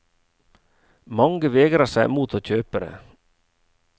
Mange vegrer seg mot å kjøpe det.